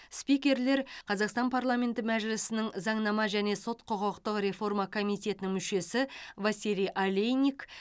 спикерлер қазақстан парламенті мәжілісінің заңнама және сот құқықтық реформа комитетінің мүшесі василий олейник